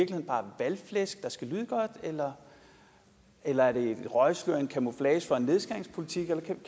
bare valgflæsk der skal lyde godt eller eller er det et røgslør en camouflage for en nedskæringspolitik kan vi